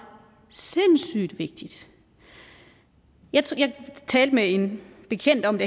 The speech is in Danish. sindssyg vigtigt jeg talte med en bekendt om